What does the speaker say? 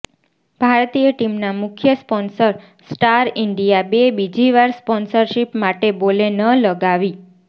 ભારતીય ટીમના મુખ્ય સ્પોંસર સ્ટાર ઈંડિયાબે બીજીવાર સ્પોંસરશિપ માટે બોલે ન લગાવી